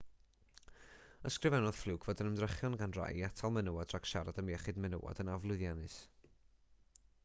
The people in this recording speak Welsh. ysgrifennodd fluke fod yr ymdrechion gan rai i atal menywod rhag siarad am iechyd menywod yn aflwyddiannus